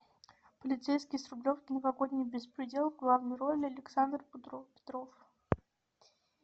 полицейский с рублевки новогодний беспредел в главной роли александр петров